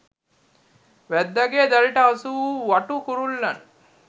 වැද්දාගේ දැලට හසු වූ වටු කුරුල්ලන්